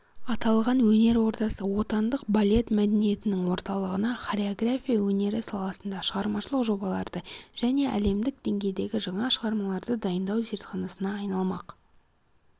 аталған өнер ордасы отандық балет мәдениетінің орталығына хореография өнері саласында шығармашылық жобаларды және әлемдік деңгейдегі жаңа шығармаларды дайындау зертханасына айналмақ